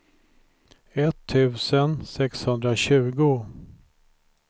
etttusen sexhundratjugo